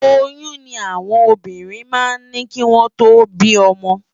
Óyùn ni áwòn óbírìn má n ni kiwòn tó bi òmò